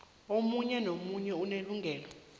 omunye nomunye unelungelo